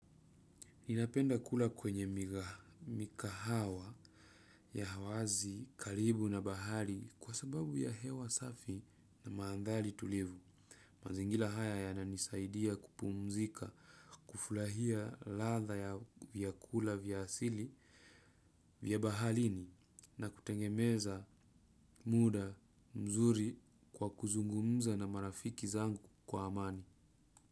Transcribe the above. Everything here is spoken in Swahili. Ninapenda kula kwenye mikahawa ya wazi, karibu na bahari kwa sababu ya hewa safi na manthari tulivu. Mazingira haya yananisaidia kupumzika, kufurahia ladha ya vyakula vya asili vya baharini na kutengemeza muda mzuri kwa kuzungumza na marafiki zangu kwa amani.